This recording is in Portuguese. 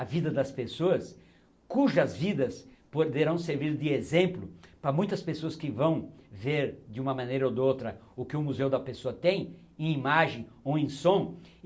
a vida das pessoas, cujas vidas poderão servir de exemplo para muitas pessoas que vão ver, de uma maneira ou de outra, o que o museu da pessoa tem, em imagem ou em som.